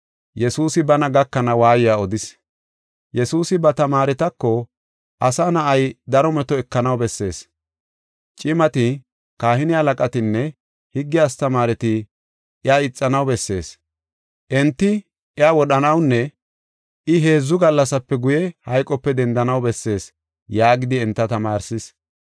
Yesuusi ba tamaaretako, “Asa Na7ay, daro meto ekanaw bessees; cimati, kahine halaqatinne higge astamaareti iya ixanaw bessees. Enti iya wodhanawunne I, heedzu gallasape guye, hayqope dendanaw bessees” yaagidi enta tamaarsis.